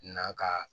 Na ka